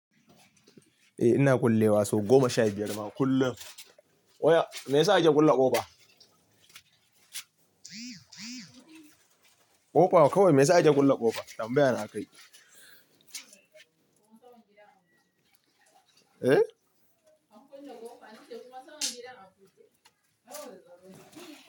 Eh ina kullewa sau goma sha biyar ma kullum. Oya me yasa ake kulle ƙofa? Ƙofa kawai me yasa ake kulle ƙofa? Tan baya na a kai. Eh.